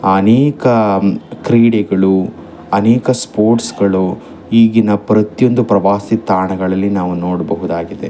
ಅನೇಕ ಕ್ರೀಡೆಗಳು ಅನೇಕ ಸ್ಪೋರ್ಟ್ಸ್ ಗಳು ಈಗಿನ ಪ್ರತಿಯೊಂದು ಪ್ರವಾಸಿ ತಾಣಗಳಲ್ಲಿ ನಾವು ನೋಡ್ಬಹುದಾಗಿದೆ.